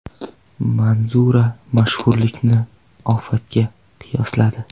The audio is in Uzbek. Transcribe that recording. Manzura mashhurlikni ofatga qiyosladi.